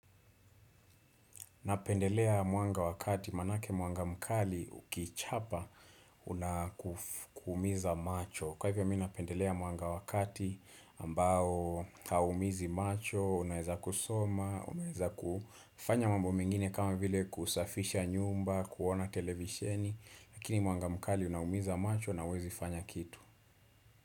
Napendelea mwanga wa kati maanake mwanga mkali ukichapa unakuumiza macho. Kwa hivyo mi napendelea mwanga wa kati ambao hauumizi macho, unaeza kusoma, unaeza kufanya mambo mengine kama vile kusafisha nyumba, kuona televisheni. Lakini mwanga mkali unaumiza macho na huwezi fanya kitu.